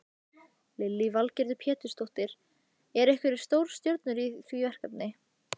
Lillý Valgerður Pétursdóttir: Eru einhverjar stórstjörnur í því verkefni?